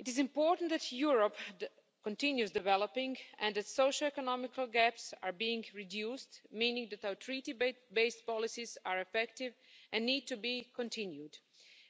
It is important that Europe continues developing and its socio economical gaps are being reduced, meaning that our Treaty based policies are effective and need to be continued,